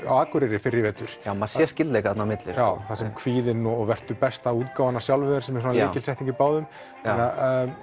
á Akureyri fyrr í vetur já maður sér skyldleika þarna á milli þar sem kvíðinn og vertu besta útgáfan af sjálfum þér sem er svona lykilsetning í báðum já